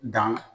Dan